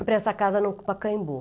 para essa casa no Pacaembu.